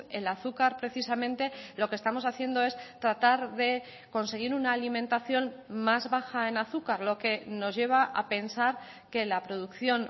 el azúcar precisamente lo que estamos haciendo es tratar de conseguir una alimentación más baja en azúcar lo que nos lleva a pensar que la producción